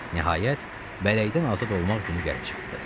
Nəhayət, bələkdən azad olmaq günü gəlib çatdı.